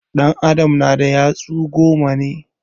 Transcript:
An adam na da yatsu goma